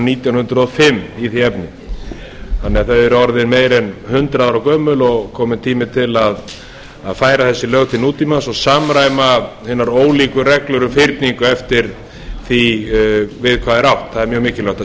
nítján hundruð og fimm í því efni þannig að þau eru orðin meira en hundrað ára gömul og kominn tími til að færa þessi lög til nútímans og samræma hinar ólíku reglur um fyrningu eftir því við hvað er átt það er mjög mikilvægt að